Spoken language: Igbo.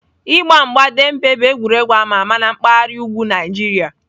Igba mgba Dembe bụ egwuregwu ama ama na mpaghara ugwu Nigeria